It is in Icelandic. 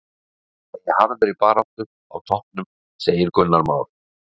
Þeir verða í harðri baráttu á toppnum, segir Gunnar Már.